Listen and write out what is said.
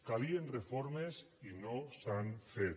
calien reformes i no s’han fet